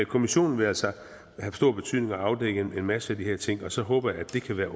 kommissionen vil altså have stor betydning og afdække en masse af de her ting og så håber jeg at det kan være